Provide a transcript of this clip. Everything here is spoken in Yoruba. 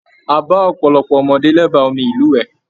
A ba ọpọlọpọ ọmọdé l'ẹba omi ilúwẹ.